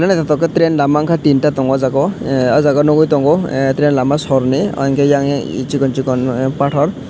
train lama tin ta tongo aw jaaga o ahh aw jaaga nugui tongo train lama sor ni eiang ke chikon chikon pathor.